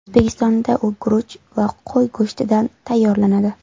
O‘zbekistonda u guruch va qo‘y go‘shtidan tayyorlanadi.